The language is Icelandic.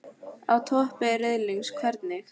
Á toppi riðilsins- hvernig?